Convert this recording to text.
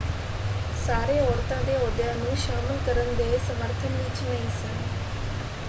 ਸਾਰੇ ਔਰਤਾਂ ਦੇ ਅਹੁਦਿਆਂ ਨੂੰ ਸ਼ਾਮਲ ਕਰਨ ਦੇ ਸਮਰਥਨ ਵਿੱਚ ਨਹੀਂ ਸਨ